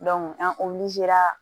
an